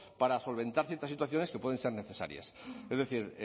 para solventar ciertas situaciones que pueden ser necesarias es decir